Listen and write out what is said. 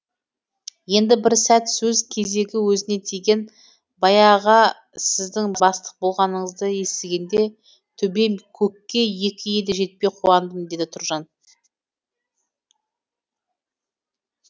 енді бір сәт сөз кезегі өзіне тиген байаға сіздің бастық болғаныңызды естігенде төбем көкке екі елі жетпей қуандым деді тұржан